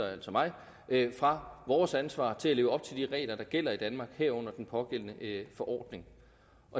altså mig fra vores ansvar til at leve op til de regler der gælder i danmark herunder den pågældende forordning